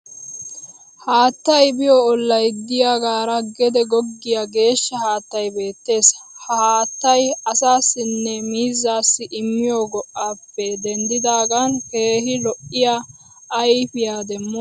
Haattay biyo olay diyaagaara gede goggiya geeshsha haattay beettees. Ha haattay asaassinne miizzaassi immiyo go'aappe denddidaagan keehi lo'iya ayfiyaa demmoosona.